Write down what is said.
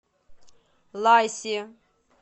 лайси